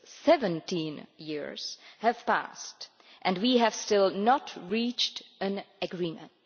17 years have passed, and we have still not reached an agreement.